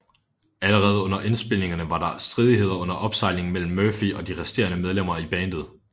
Allerede under indspilningerne var der stridigheder under opsejling mellem Murphy og de resterende medlemmer i bandet